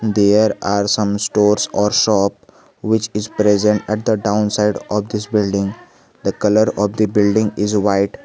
there are some stores or shop which is present at the down side office building the colour of the building is white.